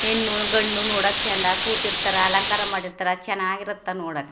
ಹೆಣ್ಣು ಗಂಡು ನೋಡಕೆ ಚಂದ ಕೂತಿರ್ತಾರ ಅಲಂಕಾರ ಮಾಡಿರ್ತಾರ ಚೆನ್ನಾಗಿರುತ್ತೆ ನೋಡ --